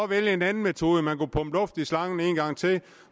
vælge en anden metode man kunne pumpe luft i slangen en gang til